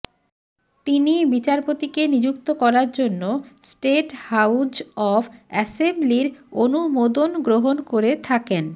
তিনি বিচারপতিকে নিযুক্ত করার জন্য স্টেট হাউজ অব অ্যাসেম্বলির অনুমোদন গ্রহণ করে থাকেন